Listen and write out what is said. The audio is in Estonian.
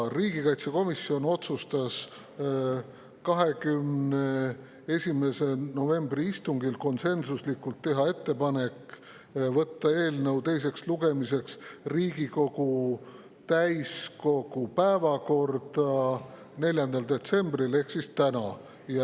Riigikaitsekomisjon otsustas 21. novembri istungil konsensuslikult teha ettepaneku võtta eelnõu teiseks lugemiseks Riigikogu täiskogu päevakorda 4. detsembriks ehk tänaseks.